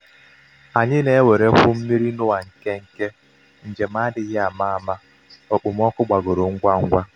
anyị na-ewerekwu mmiri n'oa nkenke njem adịghị ama ama okpomọkụ gbagoro ngwa ngwa.